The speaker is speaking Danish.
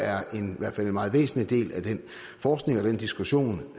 er en meget væsentlig del af den forskning og den diskussion